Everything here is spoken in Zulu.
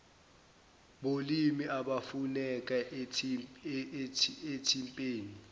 bolimi abafuneka ethimbeni